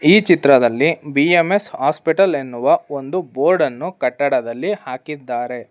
ಈ ಚಿತ್ರದಲ್ಲಿ B M S hospital ಎನ್ನುವ ಒಂದು ಬೋರ್ಡ್ ಅನ್ನು ಕಟ್ಟಡದಲ್ಲಿ ಹಾಕಿದ್ದಾರೆ.